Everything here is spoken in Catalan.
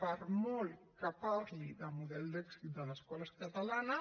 per molt que parli de model d’èxit de l’escola catalana